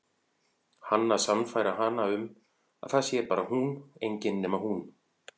Hann að sannfæra hana um að það sé bara hún, engin nema hún.